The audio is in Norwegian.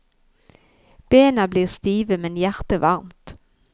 Bena blir stive, men hjertet varmt.